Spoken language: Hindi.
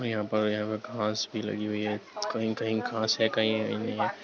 और यहां पर यहां पर घास भी लगी हुई है कहीं-कहीं घास है कहीं हेई नहीं है।